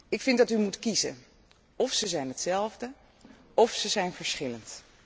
Ik vind dat u moet kiezen of ze zijn hetzelfde, of ze zijn verschillend.